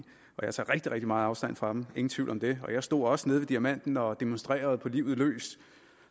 og jeg tager rigtig rigtig meget afstand fra dem ingen tvivl om det jeg stod også nede ved diamanten og demonstrerede på livet løs